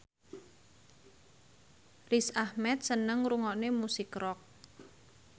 Riz Ahmed seneng ngrungokne musik rock